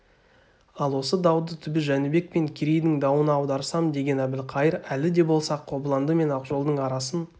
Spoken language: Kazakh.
ал осы дауды түбі жәнібек пен керейдің дауына аударсам деген әбілқайыр әлі де болса қобыланды мен ақжолдың арасын